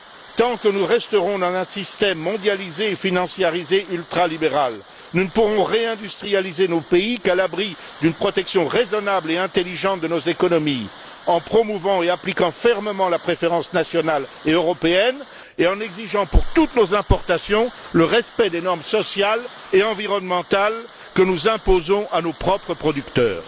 Tant que nous resterons dans un système mondialisé, financiarisé, ultra libéral, nous ne pourrons réindustrialiser nos pays qu'à l'abri d'une protection raisonnable et intelligente de nos économies, en promouvant et en appliquant fermement la préférence nationale et européenne et en exigeant, pour toutes nos importations, le respect des normes sociales et environnementales que nous imposons à nos propres producteurs.